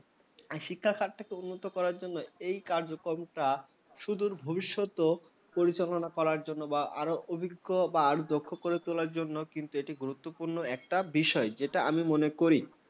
শিক্ষার ক্ষেত্রে টন মত করার জন্য এই যে কার্যক্রমটা সুদূর ভবিষ্যতে প্রজনন করার জন্য বা আরো অভিজ্ঞ বা আর দক্ষ করে তোলার জন্য কিন্তু এটী গুরুত্বপূর্ণ একটা বিষয় যেটা আমি মনে করি ।